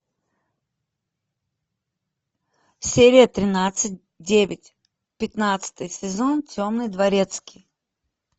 серия тринадцать девять пятнадцатый сезон темный дворецкий